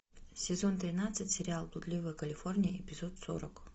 сезон тринадцать сериал блудливая калифорния эпизод сорок